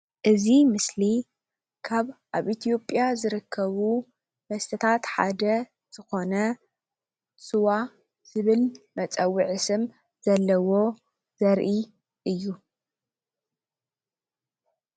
እዚ ምስሊ ካብ ኣብ ኢት/ያ ዝርከቡ መስተታት ሓደ ዝኾነ ስዋ ዝብል መፀውዒ ስም ዘለዎ ዘርኢ እዩ፡፡